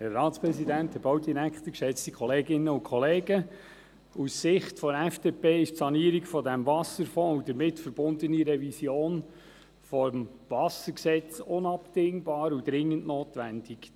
Aus Sicht der FDP sind die Sanierung des Wasserfonds und die damit verbundene Revision des WVG unabdingbar und dringend notwendig.